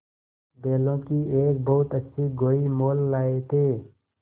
बैलों की एक बहुत अच्छी गोई मोल लाये थे